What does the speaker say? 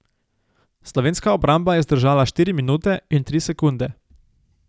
Slovenska obramba je zdržala štiri minute in tri sekunde.